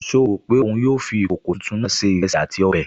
Ṣé ó rò pé òun yóò fi ìkòkò tuntun náà se ìrẹsì àti ọbẹ̀?